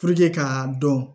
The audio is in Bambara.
k'a dɔn